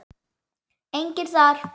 Enginn þar.